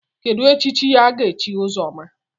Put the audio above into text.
Kedụ echichi aga-echi Ụzọma?